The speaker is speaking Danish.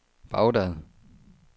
Baghdad